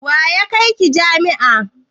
Wa ya kai ki jami'a?